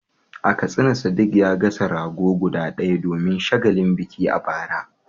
A Katsina Sadiq ya gasa rago guda ɗaya domin shagalin biki a bara.